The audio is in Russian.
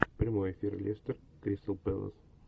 прямой эфир лестер кристал пэлас